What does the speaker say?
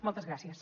moltes gràcies